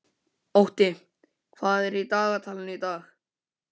Otti, hvað er í dagatalinu í dag?